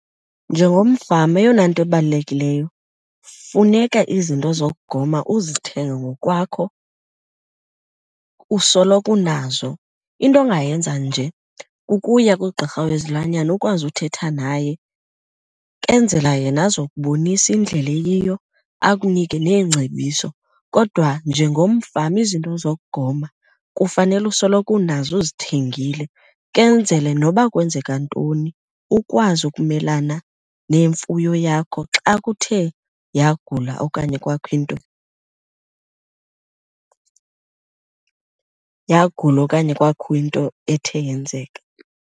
Njengomfama eyona nto ibalulekileyo funeka izinto zokugoma uzithenge ngokwakho usoloko unazo. Into ongayenza nje kukuya kugqirha wezilwanyana ukwazi uthetha naye kenzela yena azokubonisa indlela eyiyo akunike neengcebiso. Kodwa njengomfama izinto zokugoma kufanele usoloko unazo uzithengile kenzele noba kwenzeka ntoni ukwazi ukumelana nemfuyo yakho xa kuthe yagula okanye kwakho into , yagula okanye kwakho into ethe yenzeka.